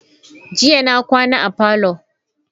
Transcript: Jiya na kwana a parlour.